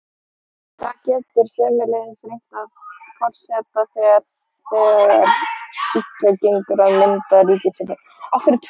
Þá getur sömuleiðis reynt á forseta þegar þegar illa gengur að mynda ríkisstjórn.